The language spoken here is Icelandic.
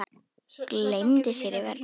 Gleymdi sér í vörn.